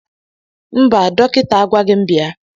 Mba dọkịta agwaghi m bịa.